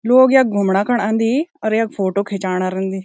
लोग यख घूमणा खण अन्दी और यख फोटो खिचाणा रेंदी।